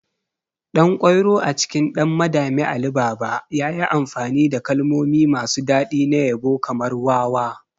Ɗankwairo a cikin 'Ɗan Madami Ali Baba' yayi amfani da kalmomi masu daɗi na yabo kamar "wawa".